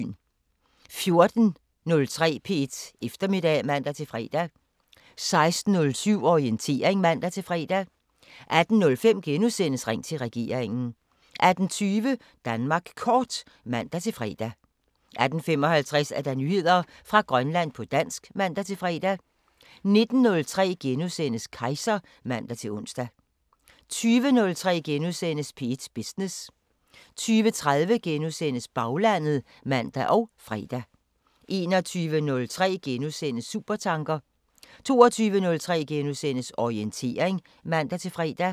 14:03: P1 Eftermiddag (man-fre) 16:07: Orientering (man-fre) 18:05: Ring til regeringen * 18:50: Danmark Kort (man-fre) 18:55: Nyheder fra Grønland på dansk (man-fre) 19:03: Kejser *(man-ons) 20:03: P1 Business * 20:30: Baglandet *(man og fre) 21:03: Supertanker * 22:03: Orientering *(man-fre)